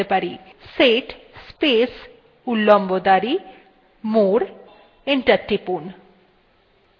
set space উল্লম্ব দাঁড়ি more এবং enter টিপুন